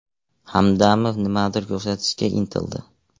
Hamdamov nimanidir ko‘rsatishga intildi.